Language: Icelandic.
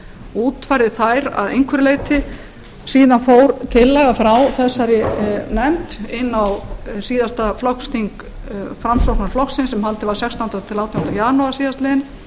útfærði þær að einhverju leyti síðan fór tillaga frá þessari nefnd inn á síðasta flokksþing framsóknarflokksins sem haldið var sextándi tilsstrik átjánda janúar síðastliðinn